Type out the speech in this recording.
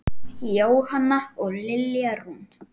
Jóhanna og Lilja Rún.